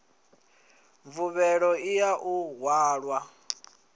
mvuvhelo i ya u hwala